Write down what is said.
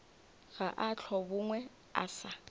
ga a hlobogwe a sa